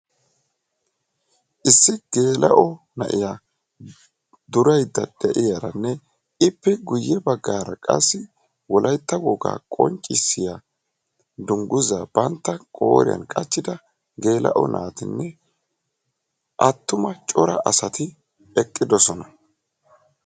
issi geela"o na"iyaa durayda beettawusu ippekka guyessara corra geela"o naati eqidossona.